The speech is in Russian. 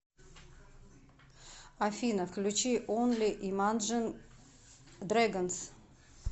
афина включи онли имаджин дрэгонс